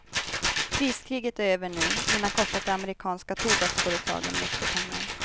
Priskriget är över nu men har kostat de amerikanska tobaksföretagen mycket pengar.